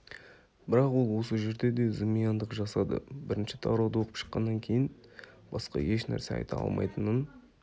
бірақ ол осы жерде де зымияндық жасады бірінші тарауды оқып шыққаннан кейін басқа ешнәрсе айта алмайтынын